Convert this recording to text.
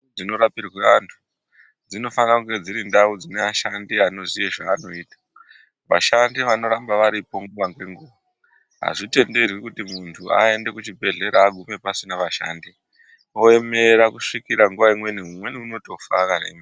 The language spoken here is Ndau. Ndau dzinorapirwe antu dzinofana kunge dziri ndau dzine ashandi anoziya zvaanoita vashandi vanoramba varipo nguva nenguva. Hazvitenderwi kuti muntu aende kuchibhedhlera agume pasina vashandi oemera kusvika nguva imweni umweni unotofa akaemera.